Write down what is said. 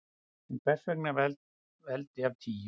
En hvers vegna veldi af tíu?